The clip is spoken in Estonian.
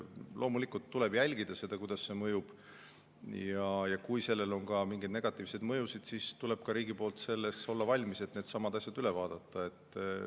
Loomulikult tuleb jälgida seda, kuidas see mõjub, ja kui sellel on ka mingeid negatiivseid mõjusid, siis tuleb riigil olla valmis neid asju üle vaatama.